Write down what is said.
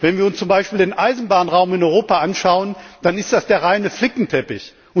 Wenn wir uns zum Beispiel den Eisenbahnraum in Europa anschauen, dann ist das der reinste Flickenteppich.